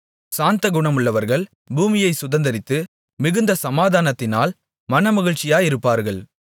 சாந்தகுணமுள்ளவர்கள் பூமியைச் சுதந்தரித்து மிகுந்த சமாதானத்தினால் மனமகிழ்ச்சியாயிருப்பார்கள்